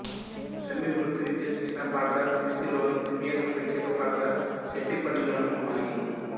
సమీప వృత్తి విద్యా శిక్షణ పాఠశాల తుమ్సిలోను దివ్యాంగుల ప్రత్యేక పాఠశాల శెట్టిపల్లె లోనూ ఉన్నాయి